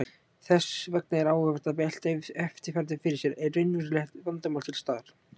Þess vegna er áhugavert að velta eftirfarandi fyrir sér: Er raunverulegt vandamál til staðar?